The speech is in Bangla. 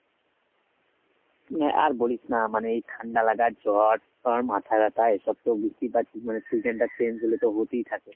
না আর বলিস না মানে এই ঠাণ্ডা লাগা জ্বর মাথা ব্যাথা এইসব তো বুঝতেই পারছিস মানে season টা change হলে তো হতেই থাকে।